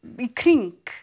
í kring